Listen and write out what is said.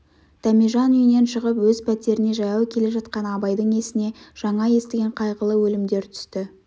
дәмежан үйінен шығып өз пәтеріне жаяу келе жатқан абайдың есіне жаңа естіген қайғылы өлімдер түсті